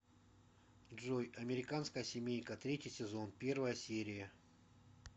джой американская семейка третий сезон первая серия